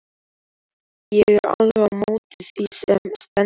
Ég er alveg á móti því sem stendur.